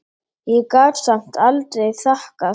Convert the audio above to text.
Ég gat samt aldrei þakkað